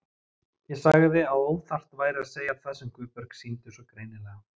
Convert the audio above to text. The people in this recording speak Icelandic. Ég sagði að óþarft væri að segja það sem Guðbjörg sýndi svo greinilega.